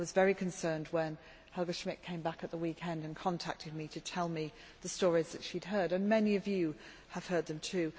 I was very concerned when Helga Schmidt came back at the weekend and contacted me to tell me the stories that she had heard. Many of you have heard them too.